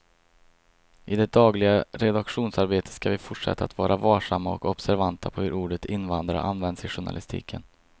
I det dagliga redaktionsarbetet ska vi fortsätta att vara varsamma och observanta på hur ordet invandrare används i journalistiken.